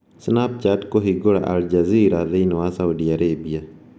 Snapchat kũhingũra Al Jazeera thĩinĩ wa Saudi Arabia